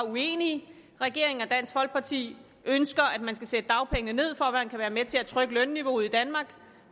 uenige regeringen og dansk folkeparti ønsker at man skal sætte dagpengene ned for at det kan være med til at trykke lønniveauet i danmark